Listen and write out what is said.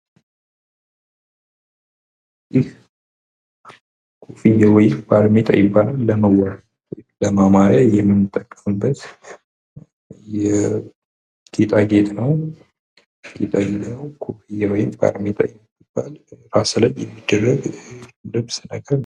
ይህ ኮፍያ ወይም ባርኔጣ ይባላል። ለመዋቢያ ወይም ለማማሪያ የምንጠቀምበት ጌጣጌጥ ነው። ባርኔጣ ወይም ራስ ላይ የሚደረግ የልብስ አይነት ነው።